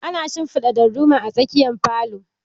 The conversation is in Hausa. Ana shinfiɗa darduma a tsakiyar falo